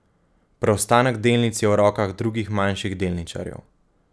Preostanek delnic je v rokah drugih manjših delničarjev.